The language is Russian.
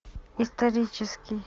исторический